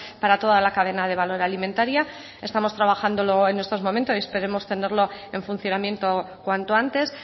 para toda la cadena de valor alimentaria estamos trabajándolo en estos momentos y esperamos tenerlo en funcionamiento cuanto antes